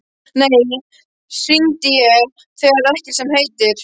Nei, nú hringi ég, það er ekkert sem heitir!